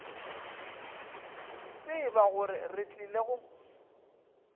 tseba gore re tlile go